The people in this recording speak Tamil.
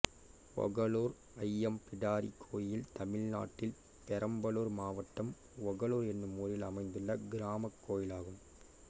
ஒகளூர் ஐயம் பிடாரி கோயில் தமிழ்நாட்டில் பெரம்பலூர் மாவட்டம் ஒகளூர் என்னும் ஊரில் அமைந்துள்ள கிராமக் கோயிலாகும்